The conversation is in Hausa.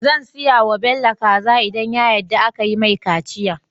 Zan siya wa Bello kaza idan ya yadda akayi mai kaciya